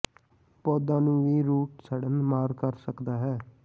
ਪੌਦਾ ਨੂੰ ਵੀ ਰੂਟ ਸੜਨ ਮਾਰ ਕਰ ਸਕਦਾ ਹੈ